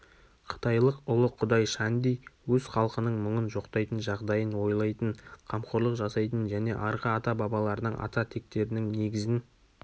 қытайлық ұлы қүдай шанди өз халқының мүңын жоқтайтын жағдайын ойлайтын қамқорлық жасайтын және арғы ата-бабаларының ата тектерінің негізін